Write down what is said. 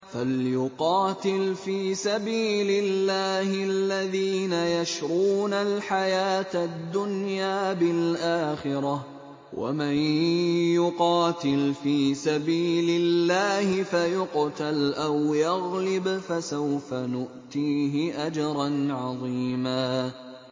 ۞ فَلْيُقَاتِلْ فِي سَبِيلِ اللَّهِ الَّذِينَ يَشْرُونَ الْحَيَاةَ الدُّنْيَا بِالْآخِرَةِ ۚ وَمَن يُقَاتِلْ فِي سَبِيلِ اللَّهِ فَيُقْتَلْ أَوْ يَغْلِبْ فَسَوْفَ نُؤْتِيهِ أَجْرًا عَظِيمًا